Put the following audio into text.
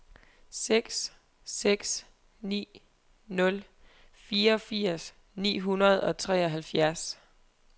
seks seks ni nul fireogfirs ni hundrede og treoghalvfjerds